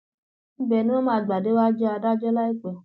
ibẹ ni wọn máa gbà déwájú adájọ láìpẹ